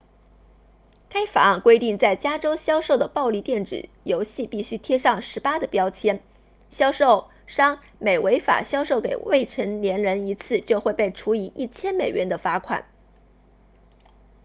该法案规定在加州销售的暴力电子游戏必须贴上18的标签销售商每违法销售给未成年人一次就会被处以1000美元的罚款